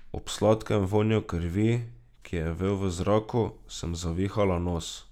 Ob sladkem vonju krvi, ki je vel v zraku, sem zavihala nos.